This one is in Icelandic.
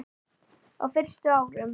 Á fyrstu árum